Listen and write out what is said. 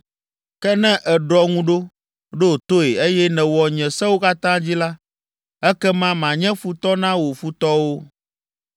Ke ne èɖɔ ŋu ɖo, ɖo toe, eye nèwɔ nye Sewo katã dzi la, ekema manye futɔ na wò futɔwo,